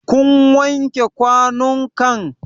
Kun wanke kwanun kan?